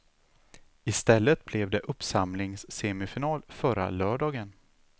I stället blev det uppsamlingssemifinal förra lördagen.